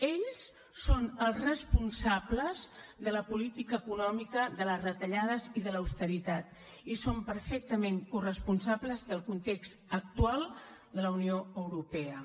ells són els responsables de la política econòmica de les retallades i de l’austeritat i són perfectament corresponsables del context actual de la unió europea